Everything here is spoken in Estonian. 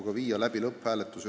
Siis võiks viia läbi ka lõpphääletuse.